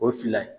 O fila ye